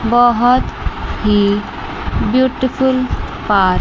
बहुत ही beautiful park --